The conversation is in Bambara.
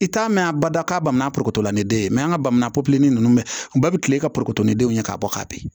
I t'a mɛn a bada ka ban poroto ni den ye an ka bamanan popilen ninnu mɛ u bɛɛ bɛ kile ka ni denw ye k'a bɔ ka bin